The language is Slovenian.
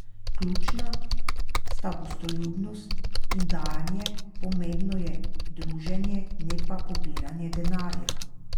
Ključna sta gostoljubnost in dajanje, pomembno je druženje, ne pa pobiranje denarja.